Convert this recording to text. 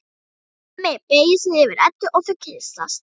Hemmi beygir sig yfir Eddu og þau kyssast.